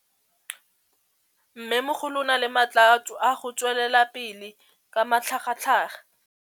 Mmêmogolo o na le matla a go tswelela pele ka matlhagatlhaga.